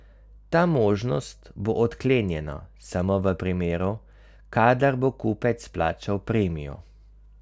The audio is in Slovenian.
Ta možnost bo odklenjena samo v primeru, kadar bo kupec plačal premijo.